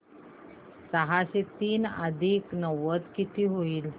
सहाशे तीन अधिक नव्वद किती होतील